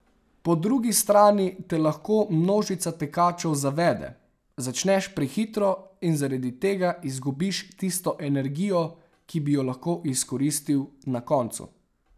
Po drugi strani te lahko množica tekačev zavede, začneš prehitro in zaradi tega izgubiš tisto energijo, ki bi jo lahko izkoristil na koncu.